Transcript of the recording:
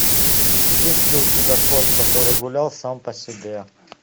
есть ли у тебя кот который гулял сам по себе